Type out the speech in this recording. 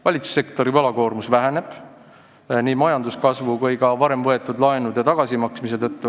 Valitsussektori võlakoormus väheneb nii tänu majanduskasvule kui ka varem võetud laenude tagasimaksmisele.